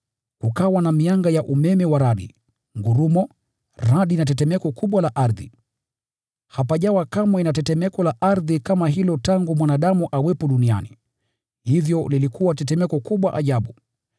Kukawa na mianga ya umeme wa radi, ngurumo, radi na tetemeko kubwa la ardhi. Hapajawa kamwe na tetemeko la ardhi kama hilo tangu mwanadamu awepo duniani, hivyo lilikuwa tetemeko kubwa ajabu.